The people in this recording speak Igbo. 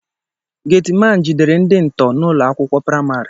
Geeti man jidere ndị ntọ n'ụlọ akwụkwọ praịmarị